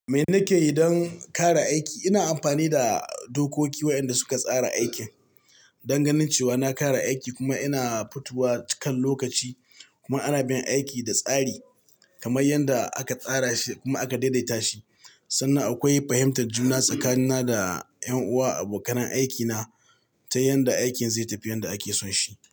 Me na ke yi don ƙara aiki? Ina amfani da dokoki waɗanda suka tsara aikin, don ganin cewa na ƙara aiki kuma ina futuwa cikan lokaci. Kuma ana bin aiki da tsari kamar yanda aka tsara shi kuma aka daidaita shi. Sannan akwai fahimtar juna tsakanina da ƴan uwa a bokanan aikina ta yanda aikin zai tafi yan da ake son shi.